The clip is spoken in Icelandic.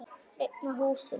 Þök rifnuðu af húsum.